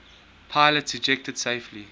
pilots ejected safely